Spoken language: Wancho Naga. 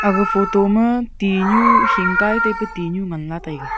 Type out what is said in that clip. aga photo ma tinyu hingkai tepa tinyu ngan nga taiga.